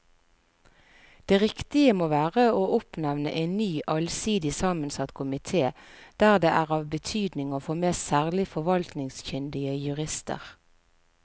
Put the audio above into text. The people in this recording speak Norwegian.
Det riktige må være å oppnevne en ny allsidig sammensatt komite der det er av betydning å få med særlig forvaltningskyndige jurister.